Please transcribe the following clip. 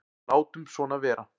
Látum svona vera.